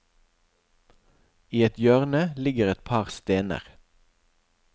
I et hjørne ligger et par stener.